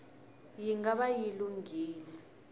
yi nga va yi lunghile